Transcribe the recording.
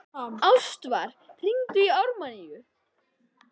Ástvar, hringdu í Ármanníu.